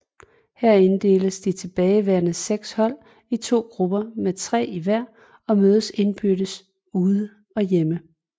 Her inddeles de tilbageværende 6 hold i to grupper med tre i hver og mødes indbyrdes ude og hjemme